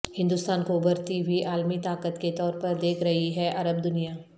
ہندوستان کو ابھرتی ہوئی عالمی طاقت کے طور پر دیکھ رہی ہے عرب دنیا